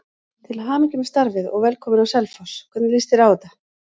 Til hamingju með starfið og velkominn á Selfoss, hvernig lýst þér á þetta?